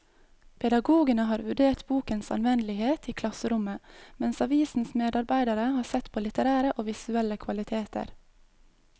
Pedagogene har vurdert bokens anvendelighet i klasserommet, mens avisens medarbeidere har sett på litterære og visuelle kvaliteter.